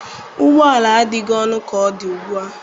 Ụgbọ ala adịghị ọnụ ka ọ dị ugbu a.